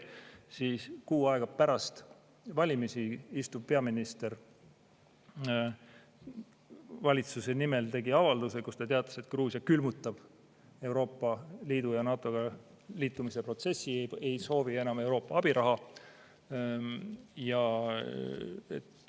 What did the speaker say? Siis, kuu aega pärast valimisi tegi peaminister valitsuse nimel avalduse, kus ta teatas, et Gruusia külmutab Euroopa Liiduga ja NATO-ga liitumise protsessi, ei soovi enam Euroopa abiraha.